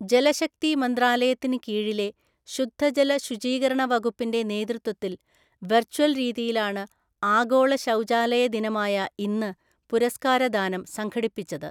ജലശക്തി മന്ത്രാലയത്തിന് കീഴിലെ, ശുദ്ധജല ശുചീകരണ വകുപ്പിന്റെ നേതൃത്വത്തിൽ വെർച്വൽ രീതിയിലാണ് ആഗോള ശൗചാലയ ദിനമായ ഇന്ന് പുരസ്കാരദാനം സംഘടിപ്പിച്ചത്.